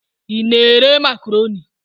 Ị na-ere Makroni?